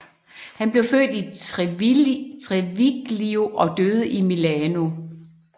Han blev født i Treviglio og døde i Milano